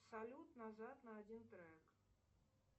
салют назад на один трек